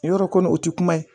Yɔrɔ kɔni o ti kuma ye